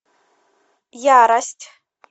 ярость